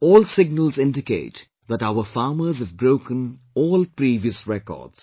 All signals indicate that our farmers have broken all previous records